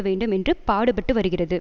வேண்டும் என்று பாடுபட்டு வருகிறது